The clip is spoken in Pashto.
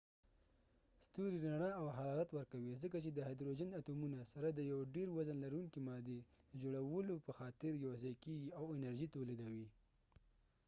ستوری رنا او حرارت ورکوي ځکه چې د هایدروجن اتومونه سره د یو ډیر وزن لرونکې مادي د جوړولو په خاطر یو ځای کېږی او انرژی تولیدوي